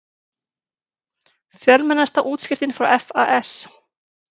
Fjölmennasta útskriftin frá FAS